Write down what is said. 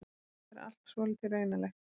Þetta er allt svolítið raunalegt.